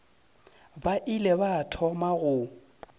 ba ile ba thoma go